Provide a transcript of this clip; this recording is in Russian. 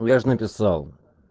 ну я же написал